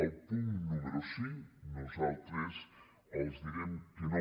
al punt número cinc nosaltres els direm que no